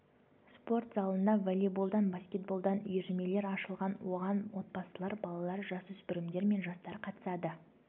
спорт залында волейболдан баскетболдан үйірмелер ашылған оған отбасылар балалар жасөспірімдер мен жастар қатысады